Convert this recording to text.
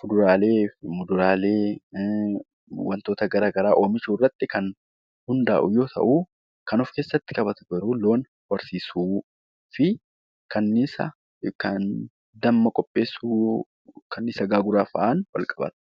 fuduraalee fi muduraalee wantoota garaagaraa oomishuu irratti kan hundaa'u yoo ta'u, kan of keessatti qabatu garuu loom horsiisuu fi kanniisa kan damma qopheessu kanniisa gaaguraa fa'aatiin wal qabata.